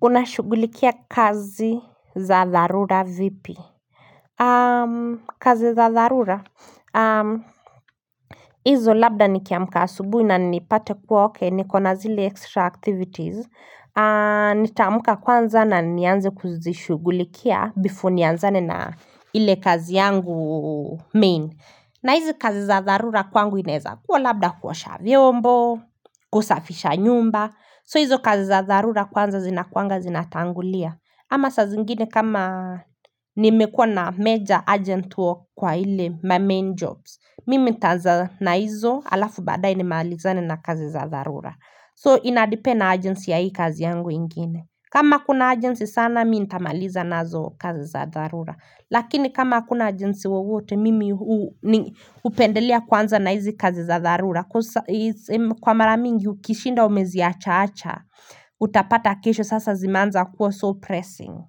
Unashughulikia kazi za tharura vipi? Kazi za tharura? HiIzo labda nikiamka asubuhi nanipate kuwa okay niko na zile extra activities. Nitaamka kwanza na nianze kuzishughulikia before nianzane na ile kazi yangu main. Na hizi kazi za tharura kwangu inaweza kuwa labda kuwa kuosha vyombo, kusafisha nyumba. So hizo kazi za tharura kwanza zinakuwanga zinatangulia ama saa zingine kama nimekuwa na major urgent work kwa ile my main jobs Mimi nitaanza na hizo halafu baadaye nimalizane na kazi za tharura So ina depend na urgency ya hii kazi yangu ingine kama kuna urgency sana mimi nitamaliza nazo kazi za tharura Lakini kama hakuna urgency wowote mimi hupendelea kuanza na hizi kazi za tharura Kwa maramingi ukishinda umeziacha acha Utapata kesho sasa zimeanza kuwa so pressing,